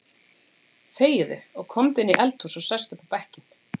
Þegiðu og komdu inn í eldhús og sestu upp á bekkinn.